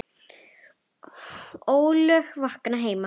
ólög vakna heima.